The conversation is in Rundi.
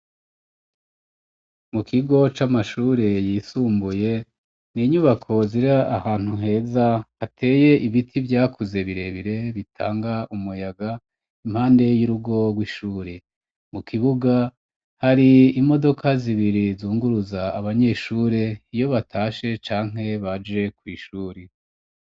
Mu kigo c'amashuri yisumbuye, n'inyubako ziri ahantu heza, hateye ibiti vyakuze, birebire bitanga umuyaga, impande y'urugo rw'ishuri, mu kibuga, hari imodoka zibiri zunguruza abanyeshuri iyo batashe canke baje kw'ishuri.